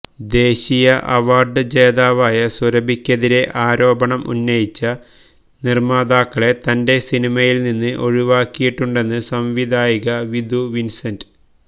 ദേശീയ അവാർഡ് ജേതാവായ സുരഭിക്കെതിരെ ആരോപണം ഉന്നയിച്ച നിർമാതാക്കളെ തന്റെ സിനിമയിൽ നിന്ന് ഒഴിവാക്കിയിട്ടുണ്ടെന്ന് സംവിധായിക വിധു വിൻസെന്റ്